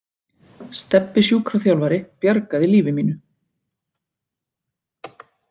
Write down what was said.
Stebbi sjúkraþjálfari bjargaði lífi mínu.